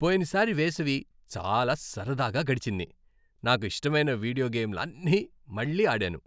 పోయినసారి వేసవి చాలా సరదాగా గడిచింది. నాకు ఇష్టమైన వీడియో గేమ్లన్నీ మళ్లీ ఆడాను.